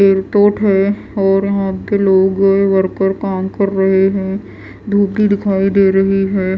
Airport है और यहां पे लोग वर्कर काम कर रहे हैं धूप भी दिखाई दे रही है।